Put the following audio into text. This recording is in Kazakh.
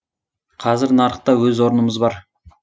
қазір нарықта өз орнымыз бар